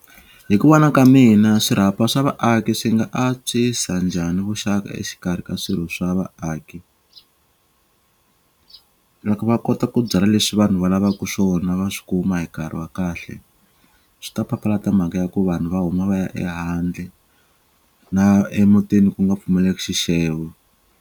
Hi ku vona ka mina swirhapa swa vaaki swi nga antswisa njhani vuxaka exikarhi ka swirho swa vaaki loko va kota ku byala leswi vanhu va lavaku swona va swi kuma hi nkarhi wa kahle swi ta papalata mhaka ya ku vanhu va huma va ya ehandle na emutini ku nga pfumaleki xixevo.